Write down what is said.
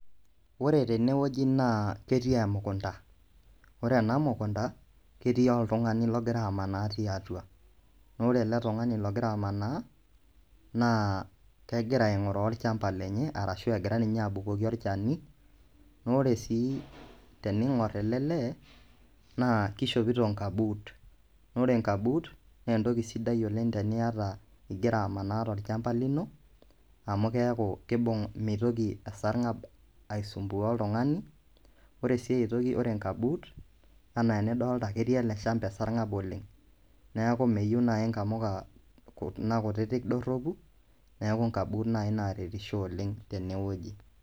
Ore tenewueji naa ketii emukunda ore ena mukunda ketii oltung'ani logira amanaa tiatua naa ore ele tung'ani logira amanaa naa kegira aing'uraa olchamba lenye arashu egira ninye abukoki olchamba lenye olchani naa ore sii tening'orr ele naa kishopito inkabuut naa ore inkabuut naa entoki sidai oleng' teniata igira amanaa tolchamba lino amu keeku kiibung' mitoki esarng'ab aisumbuaa oltung'ani ore sii ai toki ore inkabuut enaa enidolita ajo ketii ele shamba esarng'ab oleng', neeku meyieu naai inkamuka kuna kutitik dorropu neeku inkabuut naai naaretisho oleng' tenewueji.